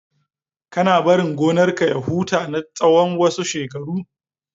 Kana barin gonar ka ya huta na tsawan wasu shekaru?